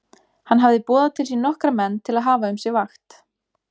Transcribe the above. Hann hafði boðað til sín nokkra menn til að hafa um sig vakt.